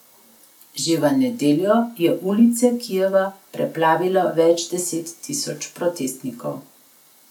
Že v nedeljo je ulice Kijeva preplavilo več deset tisoč protestnikov.